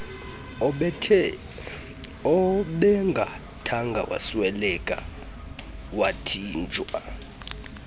ebengathanga wasweleka wathinjwa